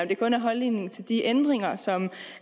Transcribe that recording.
det kun er holdningen til de ændringer som